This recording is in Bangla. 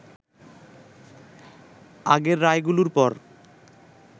আগের রায়গুলোর পর